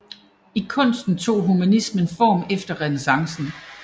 I kunsten tog humanismen form efter renæssancen